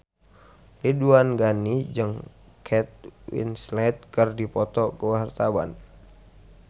Ridwan Ghani jeung Kate Winslet keur dipoto ku wartawan